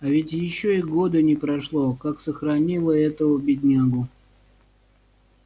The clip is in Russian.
а ведь ещё и года не прошло как сохранила этого беднягу